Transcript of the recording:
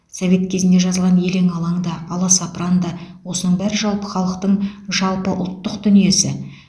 совет кезінде жазылған елең алаң да аласапыран да осының бәрі жалпы халықтың жалпы ұлттық дүниесі